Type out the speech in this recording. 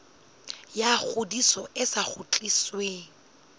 ya ngodiso e sa kgutlisweng